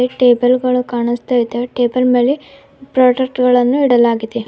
ಇಲ್ಲಿ ಟೇಬಲ್ ಗಳು ಕಾಣಸ್ತಾ ಇದಾವೆ ಟೇಬಲ್ ಮೇಲೆ ಪ್ರಾಡಕ್ಟ್ ಗಳನ್ನು ಇಡಲಾಗಿದೆ.